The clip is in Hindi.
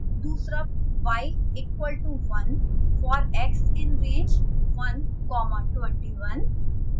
2 y equal to one